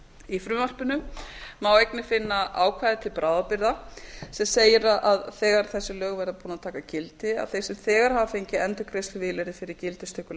í frumvarpinu má einnig finna ákvæði til bráðabirgða sem segir að þegar þessi lög verða búin að taka gildi að þeir sem þegar hafa fengið endurgreiðsluvilyrði fyrir gildistöku